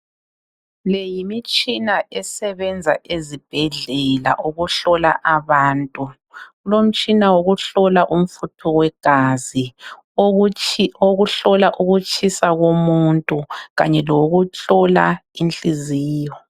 Le yimitshina esebenza ezibhedlela ukuhlola abantu. Kulomtshina wokuhlola umfutho wegazi okuyikuthi uhlola ukutshisa komuntu kanye lokuhlola inhliziyo